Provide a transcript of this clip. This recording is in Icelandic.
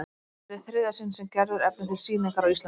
Þetta er í þriðja sinn sem Gerður efnir til sýningar á Íslandi.